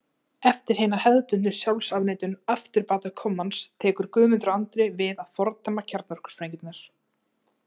Eftir hina hefðbundnu sjálfsafneitun afturbatakommans tekur Guðmundur Andri við að fordæma kjarnorkusprengjurnar.